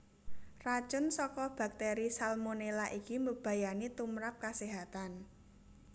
Racun saka baktéri Salmonela iki mbebayani tumprap kaséhatan